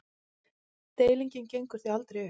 Deilingin gengur því aldrei upp.